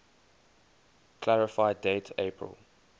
clarify date april